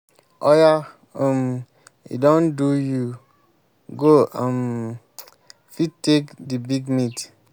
oya um e don do you go um fit take the big meat.